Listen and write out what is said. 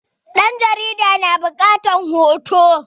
ɗan jarida na bukatar hoto